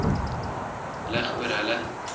lig oor hulle